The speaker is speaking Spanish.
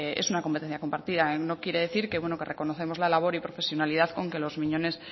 es una competencia compartida no quiere decir que bueno que reconocemos la labor y profesionalidad con que los miñones